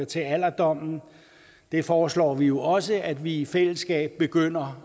til alderdommen det foreslår vi jo også at vi i fællesskab begynder